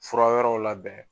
Fura wɛrɛw labɛn